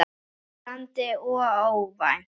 Tælandi og óvænt.